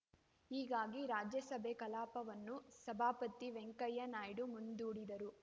ಹೀಗಾಗಿ ರಾಜ್ಯಸಭೆ ಕಲಾಪವನ್ನು ಸಭಾಪತಿ ವೆಂಕಯ್ಯ ನಾಯ್ಡು ಮುಂದೂಡಿದರು